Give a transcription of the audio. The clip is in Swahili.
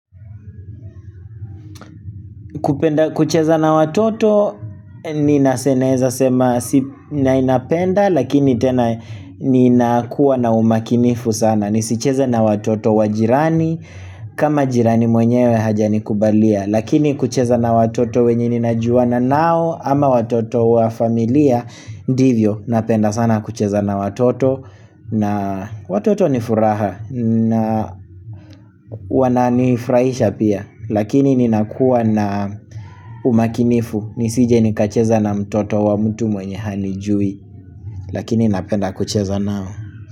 Kupenda kucheza na watoto ninaweza sema si naipenda lakini tena ninakuwa na umakinifu sana nisicheze na watoto wa jirani kama jirani mwenyewe hajanikubalia lakini kucheza na watoto wenye ninajuana nao ama watoto wa familia ndivyo napenda sana kucheza na watoto na watoto ni furaha na wananifurahisha pia lakini ninakuwa na umakinifu nisije nikacheza na mtoto wa mtu mwenye hanijui Lakini napenda kucheza nao.